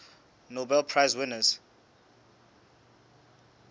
nobel prize winners